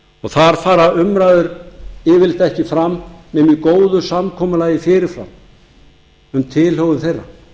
þar fara umræður yfirleitt ekki fram nema í góðu samkomulagi fyrir fram um tilhögun þeirra